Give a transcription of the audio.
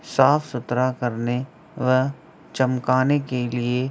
साफ़-सुथरा करने व चमकाने के लिए --